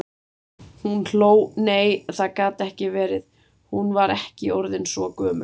Hún hló, nei, það gat ekki verið, hún var ekki orðin svo gömul.